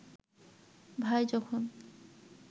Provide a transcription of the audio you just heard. ভাই যখন